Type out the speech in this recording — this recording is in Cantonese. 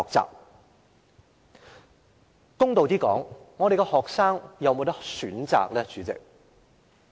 主席，公道一點，學生有否選擇呢？